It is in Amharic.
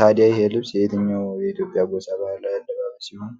ታዲያ ይህ ልብስ የየትኛው የኢትዮጵያ ጎሳ ባህላዊ አለባበስ ይሆን?